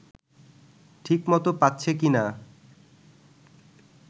ঠিক মতো পাচ্ছে কিনা